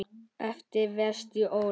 eftir Véstein Ólason.